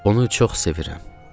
Onu çox sevirəm.